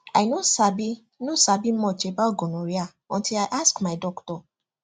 i no sabi no sabi much about gonorrhea until i ask my doctor